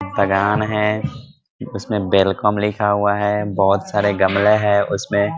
बगान है उसमे वेलकम लिखा हुआ है | बहुत सारे गमले हैं | उसमे --